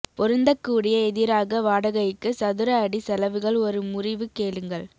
பொருந்தக்கூடிய எதிராக வாடகைக்கு சதுர அடி செலவுகள் ஒரு முறிவு கேளுங்கள்